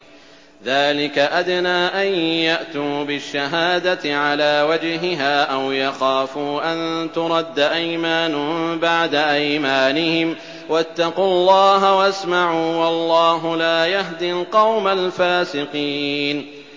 ذَٰلِكَ أَدْنَىٰ أَن يَأْتُوا بِالشَّهَادَةِ عَلَىٰ وَجْهِهَا أَوْ يَخَافُوا أَن تُرَدَّ أَيْمَانٌ بَعْدَ أَيْمَانِهِمْ ۗ وَاتَّقُوا اللَّهَ وَاسْمَعُوا ۗ وَاللَّهُ لَا يَهْدِي الْقَوْمَ الْفَاسِقِينَ